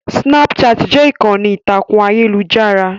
Snapchat jẹ́ ìkànnì ìtàkùn ayélujára